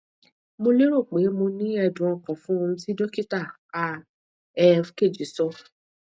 mo lero pe mo ni ẹdun ọkan fun ohun ti dokita a e keji sọ